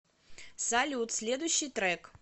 салют следущий трек